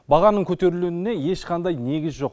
бағаның көтерілуіне ешқандай негіз жоқ